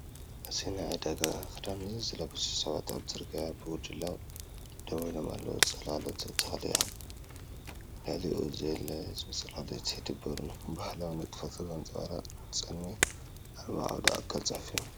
እዚ ጻዕዳ ክዳን ዝለበሱ ሰባት ኣብ ጽርግያ ብጉጅለ ደው ኢሎም ኣለዉ፤ ጽላሎት ተክሊ ኣብ ልዕሊኡ ህድእ ዝበለ ጽላሎት ይድርብየሉ። ባህላዊ ንጥፈታት ዘንጸባርቕ ድምጺ ኣልቦ ዓውደ-ጽሑፍ'ዩ።